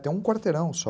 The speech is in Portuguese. Tem um quarteirão só.